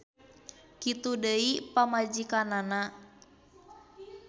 Kitu deui pamajikanana.